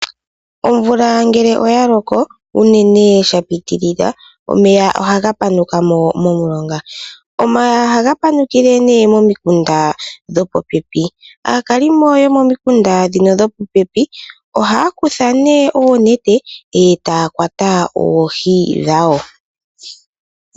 Omvula ngele ya loko uunene sha pitilila. Omeya ohaga panukamo momulonga, ohaga panukile ne momikunda dhopo pepi. Aakalimo yomikunda dhopopepi ohaya kutha ne oonete etaya kwata oohi dhawo.